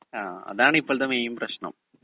speaker 2 ങ്ഹാ അതാണിപ്പോഴത്തെ main പ്രശ്നം